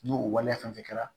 N'o o waleya fɛn fɛn kɛra